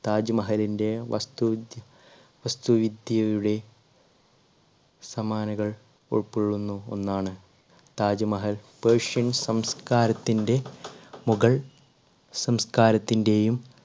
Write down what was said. താജ്മഹലിന്റെ വസ്തു വസ്തുവിദ്യയുടെ സമാനകൾ ഉൾക്കൊള്ളുന്ന ഒന്നാണ് താജ്മഹൽ persian സംസ്കാരത്തിൻറെ മുഗൾ സംസ്കാരത്തിന്റെയും